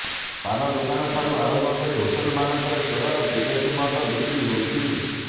ପାନ ଦୋକାନ ଠାରୁ ଆରମ୍ଭ କରି ହୋଟେଲମାନଙ୍କରେ ଚୋରା ବିଦେଶୀ ମଦ ବିକ୍ରି ହେଉଛି